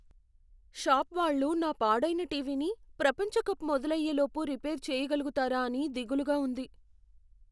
Shop వాళ్ళు నా పాడైన టీవీని ప్రపంచ కప్ మొదలయ్యే లోపు రిపేర్ చేయగలుగుతారా అని దిగులుగా ఉంది.